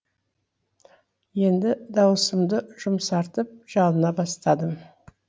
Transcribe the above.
енді даусымды жұмсартып жалына бастадым